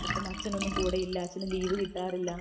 ഇപ്പം അച്ഛൻ ഒന്നും കൂടെയില്ല അച്ഛനെ ലീവ് കിട്ടാറില്ല